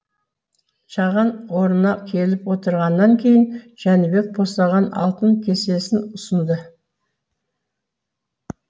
жаған орнына келіп отырғаннан кейін жәнібек босаған алтын кесесінұсынды